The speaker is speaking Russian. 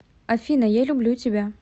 афина я люблю тебя